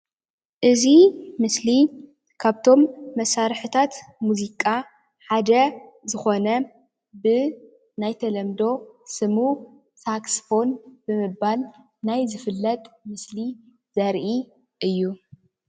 እዚ ምስሊ ካብቶም መሳሪሕታት ሙዚቃ ሓደ ዝኾነ ብ ናይ ተለምዶ ስሙ ሳክስፎን ብምባል ናይ ዝፍለጥ ምስሊ ዘርኢ እዩ።